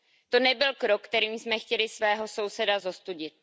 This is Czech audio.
To nebyl krok, kterým jsme chtěli svého souseda zostudit.